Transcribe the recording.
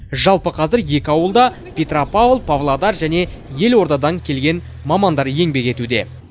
жалпы қазір екі ауылда петропавл павлодар және елордадан келген мамандар еңбек етуде